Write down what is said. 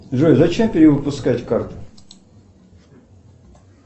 джой зачем перевыпускать карту